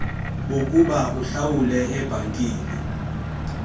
bokuba uhlawule ebhankini